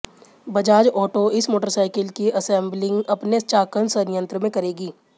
Bajaj auto इस motorcycle की assembling अपने चाकन संयंत्र में करेगी